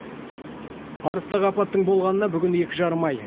арыстағы апаттың болғанына бүгін екі жарым ай